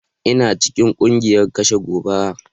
Ina cikin kungiyar kashe gobara.